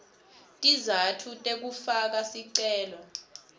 tizatfu tekufaka sicelo